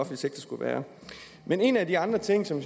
sektor skulle være men en af de andre ting som